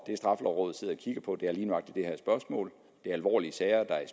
straffelovrådet sidder og kigger på er lige nøjagtig det her spørgsmål det er alvorlige sager der er